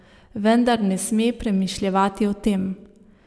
Vendar ne sme premišljevati o tem.